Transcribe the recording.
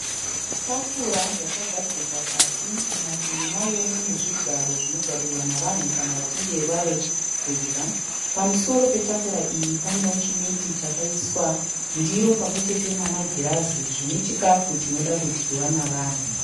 Tafura yakagadzikwa pasi. Munativi mayo mune zvigaro zvinogarirwa nevanhu kana vavekudya. Pamusoro petafura iyi panewo chimeti chakaiswa ndiro pamwechete namagirazi zvinechikafu choda kudyiwa nevanhu.